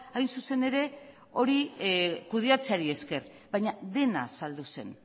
hain zuzen ere hori kudeatzeari esker baina dena saldu zen